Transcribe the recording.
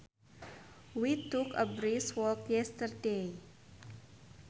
We took a brisk walk yesterday